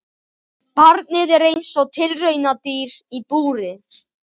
Barnið er eins og tilraunadýr í búri.